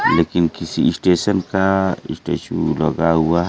लेकिन किसी स्टेशन का स्टेचू लगा हुआ--